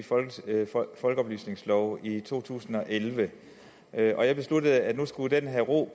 folkeoplysningslov i to tusind og elleve og jeg besluttede at den nu skulle have ro